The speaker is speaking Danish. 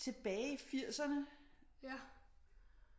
Tilbage i firserne